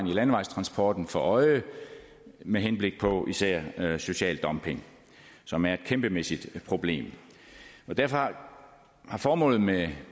i landevejstransporten for øje med henblik på især social dumping som er et kæmpemæssigt problem derfor har formålet med